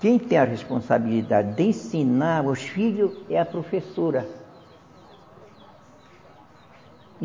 Quem tem a responsabilidade de ensinar os filho é a professora.